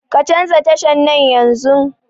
Ka canza tashan nan yanzun